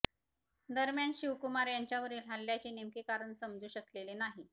दरम्यान शिवकुमार यांच्यावरील हल्ल्याचे नेमके कारण समजू शकलेले नाही